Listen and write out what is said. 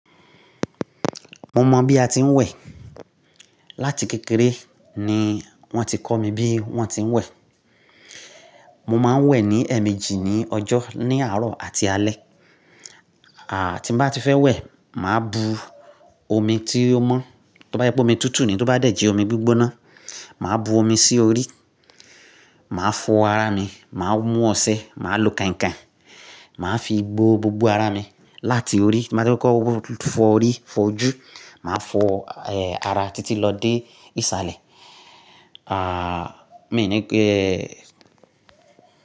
Mo mọ̀ bí a ti ń wẹ̀. Láti kékeré ni wọ́n ti kọ́ mi bí wọ́n ti ń wẹ̀. Mo máa ń wẹ̀ ní ẹ̀ẹ̀mejì ní ọjọ́, ní àárọ̀ àti alẹ́. Àti bá ti fẹ́ wẹ̀, màá bu omi tí ó mọ́, tó bá yẹ pé omi tútù ni, tó bá dẹ̀ jẹ́ omi gbígbóná, màá bu omi sí orí, màá fọ ara mi, màá mú ọṣẹ, màá lo keinkein, màá fi gbó gbogbo ara mi láti orí, máa ti ko ko fọ orí, fọ ojú, màá fọ, eh, ara títí lọ dé ìsàlẹ̀. À, mi ní pé.